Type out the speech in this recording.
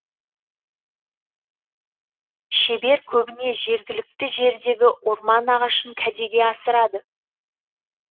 шебер көбіне жергілікті жердегі орман ағашын кәдеге асырады